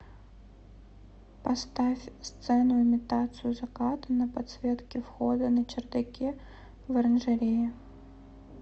поставь сцену имитацию заката на подсветке входа на чердаке в оранжерее